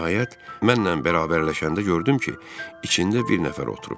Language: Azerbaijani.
Nəhayət, mənlə bərabərləşəndə gördüm ki, içində bir nəfər oturub.